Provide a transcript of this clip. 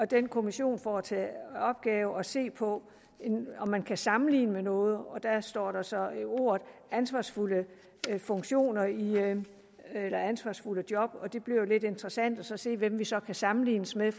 den kommission får til opgave at se på om man kan sammenligne med noget og der står der så ordene ansvarsfulde funktioner eller ansvarsfulde job og det bliver jo lidt interessant at se hvem vi så kan sammenlignes med